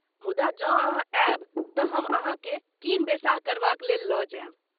मुदा जँ अहाँ आयब तँ हम अहाँकेँ कीन बेसाह करबाक लेल लऽ जायब।